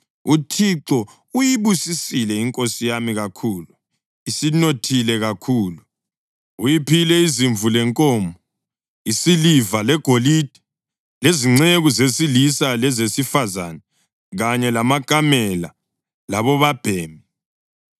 UThixo uyibusisile inkosi yami kakhulu, isinothile kakhulu. Uyiphile izimvu lenkomo, isiliva legolide, lezinceku zesilisa lezesifazane kanye lamakamela labobabhemi.